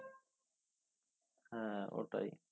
হ্যাঁ ওটাই